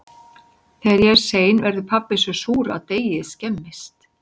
Þegar ég er sein verður pabbi svo súr að deigið skemmist.